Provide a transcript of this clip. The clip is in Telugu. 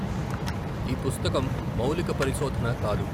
ఈ పుస్తకం మౌలిక పరిశోధన కాదు.